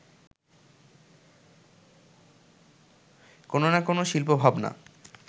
কোনো না কোনো শিল্পভাবনা